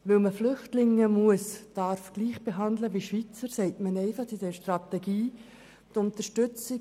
Weil man Flüchtlinge gleich wie Schweizer behandeln muss beziehungsweise darf, sagt man in der Strategie zweitens: